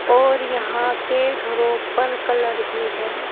और यहां के घरों पर कलर भी है।